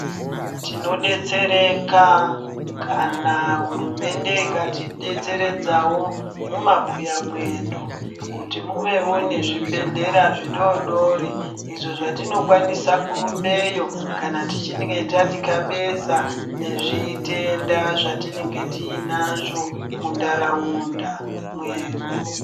Tinodetsereka kana hurumende ikati detseredzawo mumabuya mwedu, kuti muvewo nezvibhedhlera zvidodori, izvo zvatinokwanisa kurumbeyo kana tichinge tatikabeza nezvitenda zvatinenge tiyinazvo mundaraunda mwedu.